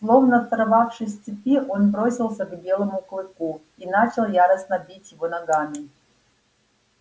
словно сорвавшись с цепи он бросился к белому клыку и начал яростно бить его ногами